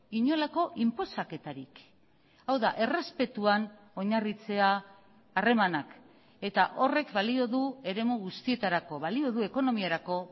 inolako inposaketarik hau da errespetuan oinarritzea harremanak eta horrek balio du eremu guztietarako balio du ekonomiarako